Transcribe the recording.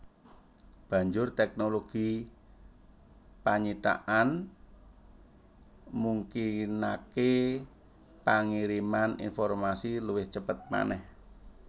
Banjur tèknologi panyithakan mungkinaké pangiriman informasi luwih cepet manèh